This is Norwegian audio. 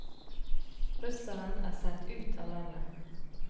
Russeren er sendt ut av landet.